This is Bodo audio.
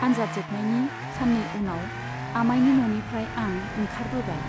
आन्जाद जोबनायनि साननै उनाव आमायनि न'निफ्राय आं ओंखारबोबाय।